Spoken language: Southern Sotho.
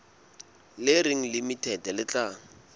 le reng limited le tla